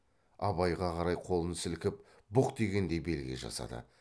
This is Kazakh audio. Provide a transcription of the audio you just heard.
абайға қарай қолын сілкіп бұқ дегендей белгі жасады